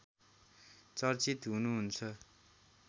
चर्चित हुनुहुन्छ